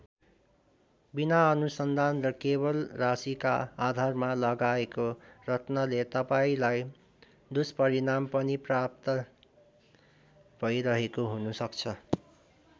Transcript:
बिना अनुसन्धान र केवल राशिका आधारमा लगाएको रत्नले तपाईँलाई दुस्परिणाम पनि प्राप्त भैरहेको हुनसक्छ।